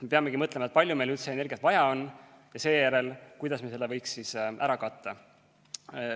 Me peamegi mõtlema esmalt, kui palju meil üldse energiat vaja on, ja seejärel, kuidas me võiksime seda ära katta.